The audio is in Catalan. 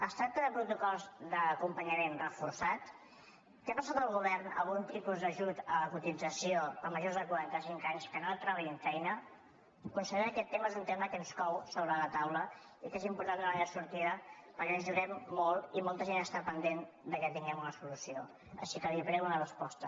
es tracta de protocols d’acompanyament reforçat té pensat el govern algun tipus d’ajut a la cotització a majors de quaranta cinc anys que no trobin feina consellera aquest tema és un tema que ens cou sobre la taula i que és important donar li sortida perquè ens hi juguem molt i molta gent està pendent que tinguem una solució així que li prego una resposta